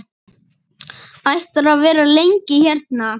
Ætlarðu að vera lengi hérna?